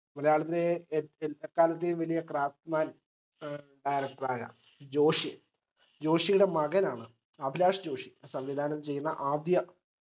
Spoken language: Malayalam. മലയാളത്തിലെ എ എ എക്കാലത്തേയും വലിയ craftman director ആയ ജോഷി ജോഷിയുടെ മകനാണ് അഭിലാഷ്‌ ജോഷി സംവിധാനം ചെയ്യുന്ന ആദ്യ